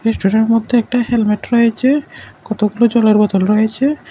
রেস্টরের মধ্যে একটা হেলমেট রয়েছে কতগুলো জলের বোতল রয়েছে।